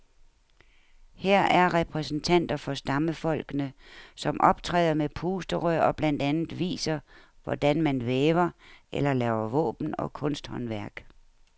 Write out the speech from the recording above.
Her er repræsentanter for stammefolkene, som optræder med pusterør og blandt andet viser, hvordan man væver eller laver våben og kunsthåndværk.